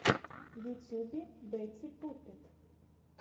в ютубе бэтти пуппет